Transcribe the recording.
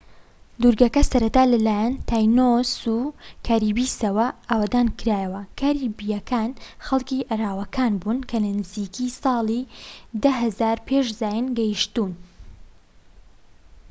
دورگەکە سەرەتا لەلایەن تاینۆس و کاریبیسەوە ئاوەدانکرایەوە کاریبیەکان خەڵکی ئەراواکان بوون کە نزیکەی ساڵی 10,000 پێش زاین گەیتشوون